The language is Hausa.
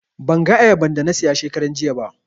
Ban ga ayaban da na siya shekaran jiya ba